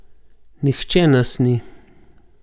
Nihče nas ni.